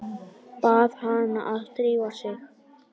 Bað hana að drífa sig.